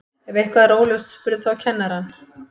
ef eitthvað er óljóst spurðu þá kennarann